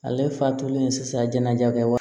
Ale fatulen sisan jɛnɛja kɛ wa